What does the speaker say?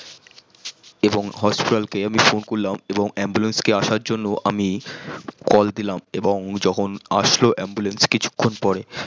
এবং হাসপাতাল কে আমি phone করলাম এবং ambulance কে আসার জন্য আমি call দিলাম আবং যখন আসছিল ambulance কিছুখন পর